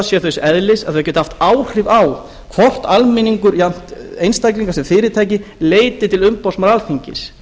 séu þess eðlis að þau geti haft áhrif á hvort almenningur jafnt einstaklingar sem fyrirtæki leiti til umboðsmanns alþingis